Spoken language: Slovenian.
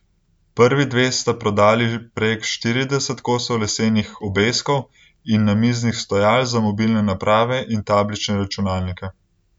Prvi dve sta prodali prek štirideset kosov lesenih obeskov in namiznih stojal za mobilne naprave in tablične računalnike.